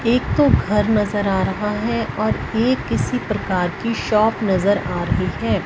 एक तो घर नजर आ रहा है और ये किसी प्रकार की शॉप नजर आ रही है।